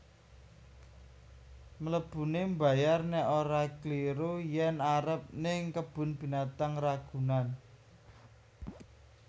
Mlebune mbayar nek ora kliru yen arep ning Kebun Binatang Ragunan